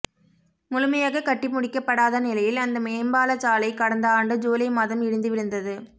முழுமையாக கட்டி முடிக்கப்படாத நிலையில் அந்த மேம்பாலச் சாலை கடந்த ஆண்டு ஜூலை மாதம் இடிந்து விழுந்தது